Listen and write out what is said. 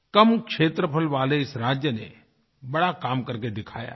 कम क्षेत्रफल वाले इस राज्य ने बड़ा काम करके दिखाया है